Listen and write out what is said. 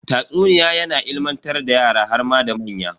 Tatsuniya yana ilimantar da yara harma da manya.